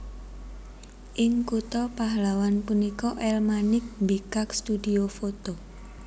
Ing kutha Pahlawan punika El Manik mbikak studhio foto